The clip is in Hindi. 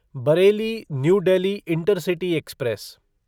Bareilly new Delhi intercity express